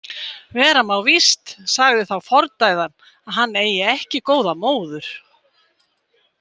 Vera má víst, sagði þá fordæðan, að hann eigi ekki góða móður.